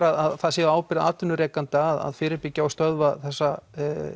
að það sé ábyrgð atvinnurekenda að fyrirbyggja og stöðva þessa